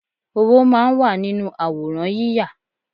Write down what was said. Owó máa ń wà nínú àwòrán yíya